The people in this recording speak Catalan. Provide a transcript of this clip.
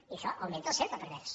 i això augmenta el cercle pervers